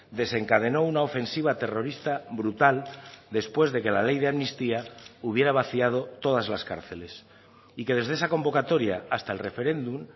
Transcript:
desencadenó una ofensiva terrorista brutal después de que la ley de amnistía hubiera vaciado todas las cárceles y que desde esa convocatoria hasta el referéndum